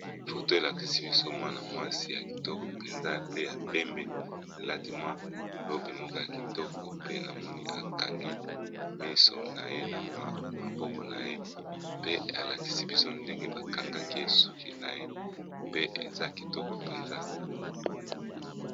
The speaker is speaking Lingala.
Foto elakisi biso mwana mwasi ya kitoko mpenza. Pe ya pembe elati mwa robe moko ya kitoko pe namoni, akangi miso na ye na wa maboko na ye pe alakisi biso ndenge ba kangakiye suki na ye pe eza kitoko mpenza.